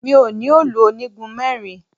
Mi ò ní òòlù onígun mẹ́rin